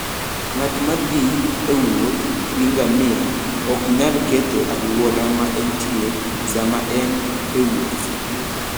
Ng'at ma thi e wuoth gi ngamia ok nyal ketho alwora ma entie sama en e wuoth.